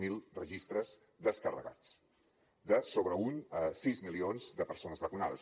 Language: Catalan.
zero registres descarregats de sobre uns sis milions de persones vacunades